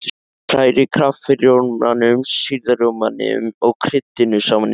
Hrærið kaffirjómanum, sýrða rjómanum og kryddinu saman í skál.